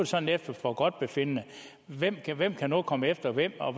sådan efter forgodtbefindende hvem kan hvem kan nu komme efter hvem og